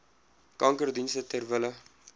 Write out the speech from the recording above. kankerdienste ter wille